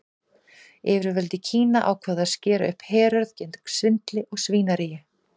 Yfirvöld í Kína ákváðu að skera upp herör gegn svindli og svínaríi.